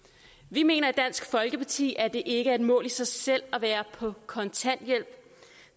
vi mener i dansk folkeparti at det ikke er et mål i sig selv at være på kontanthjælp